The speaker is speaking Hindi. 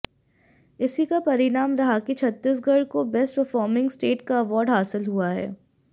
इसी का परिणाम रहा कि छत्तीसगढ़ को बेस्ट परफार्मिंग स्टेट का अवार्ड हासिल हुआ है